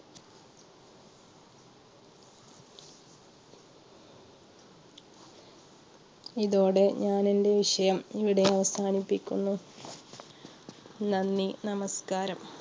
ഇതോടെ ഞാനെൻറെ വിഷയം ഇവിടെ അവസാനിപ്പിക്കുന്നു നന്ദി നമസ്കാരം